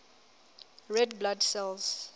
red blood cells